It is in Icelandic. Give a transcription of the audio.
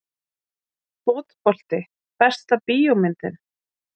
Fótbolti Besta bíómyndin?